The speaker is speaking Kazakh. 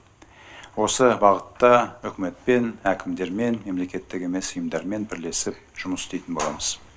осы бағытта үкіметпен әкімдермен мемлекеттік емес ұйымдармен бірлесіп жұмыс істейтін боламыз